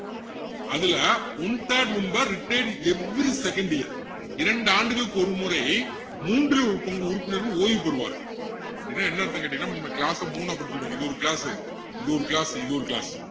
அதுல one third member retired every second year இரண்டு ஆண்டுகளுக்கு ஒருமுறை மூன்றில் ஒரு பங்கு உறுப்பினர்கள் ஓய்வு பெறுவார்கள் அப்படின்னா என்ன அர்த்தம்னு கேட்டீங்கன்னா நம்ம class அ மூணா பிரிச்சுக்கிடுவோம் இது ஒரு class உ இது ஒரு class உ இது ஒரு class உ